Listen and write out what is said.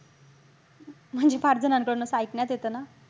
म्हणजे फार जणांकडून असं ऐकण्यात येत ना.